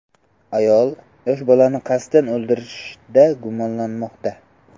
Ayol yosh bolani qasddan o‘ldirishda gumonlanmoqda.